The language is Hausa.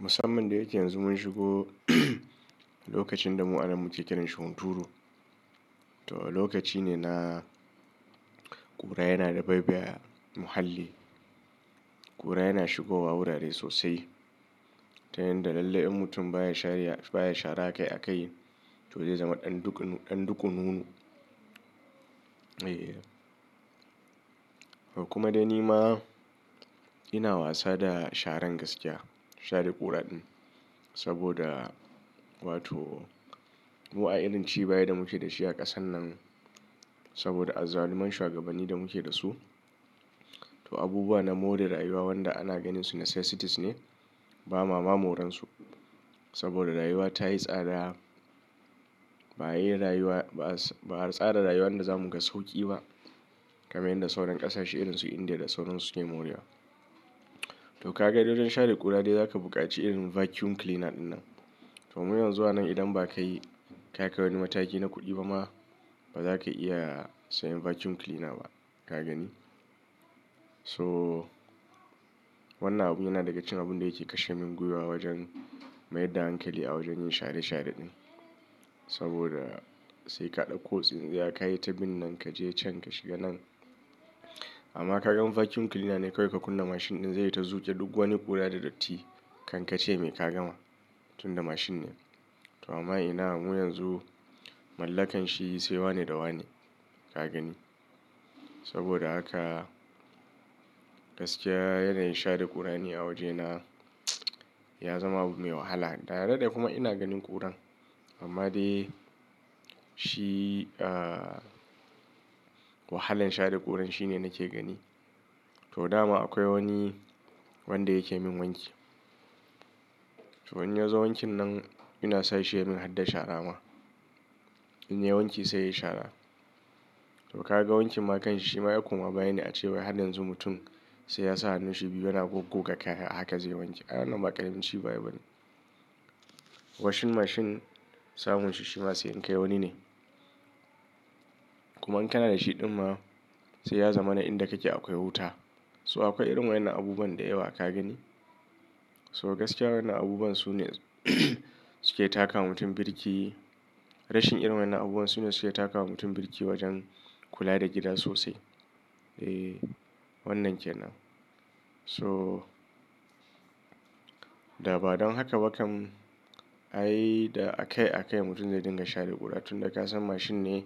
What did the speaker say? Musamman da yake yanzu mun shigo lokacin da mu ana muke kiran shi hunturu. To lokaci ne na ƙura yana da baibaya muhalli. Ƙura yana shigowa wurare sosai, ta yanda lallai in mutum baya shariya baya shara a kai a kai to zai zama ɗan duk ɗan dukununu. Eh. To kuma dai ni ma ina wasa da sharan gaskiya, share ƙura din. Saboda wato mu a irin ci baya da muke da shi a ƙasan nan, saboda azzaluman shugabanni da muke da su. To abubuwa na more rayuwa wanda ana ganin su na necessities ne, ba ma ma moran su. Saboda rayuwa ta yi tsada, ba a yi rayuwa ba a tsara rayuwar da za mu ga sauƙi ba. Kama yanda sauran ƙasashe irin su India da sauransu suke more wa. To ka ga dai don share ƙura dai za ka buƙaci irin vacuum cleaner ɗin nan. To mu yanzu a nan idan ba kai ka kai wani mataki na kuɗi ba ma, ba za ka iya sayen vacuum cleaner ba, ka gani. So wannan abu yana daga cikin abun da yake kashe min gwiwa wajen mayar da hankali a wajen yin share share ɗin. Saboda sai ka ɗauko tsintsiya, ka yi ta bin nan, ka je can, ka shiga nan. Amma ka gan vacuum cleaner ne kawai ka kunna mashin ɗin zai yi ta zuƙe duk wani ƙura da datti kan ka ce mai ka gama. Tunda mashin ne. To amma ina mu yanzu mallakan shi sai wane da wane, ka gani. Saboda haka gaskiya yanayin share ƙura ne a wajena ya zama abu mai wahala. Dare da kuma ina ganin ƙuran. Amma dai shi ah wahalan share ƙura shi ne nake gani. To dama akwai wani wanda yake min wanki. To in ya zo wankin nan ina sashi ya min hada shara ma. In ya yi wanki sai ya yi shara. To ka ga wanki ma kanshi shi ma ya koma bayi ne a cewa har yanzu mutum sai ya sa hannun shi biyu yana goggo kaya a haka zai wanki. I wannan ba karami ci baya bane. Washing machine samun shi shi ma sai in kai wani ne. Kuma in kana da shi ɗin ma sai ya zama na inda kake akwai wuta. So akwai irin wa'anan abubuwan da yawa ka gani. So gaskiya wannan abubuwan su ne suke taka wa mutum birki. Rashin irin wannan abubuwan su ne suke takawa mutum birki wajen kula da gida sosai. Eh wannan ke nan. So da ba don haka ba kam ai da a kai a kai mutum zai dinga share ƙura tun da ka san mashin ne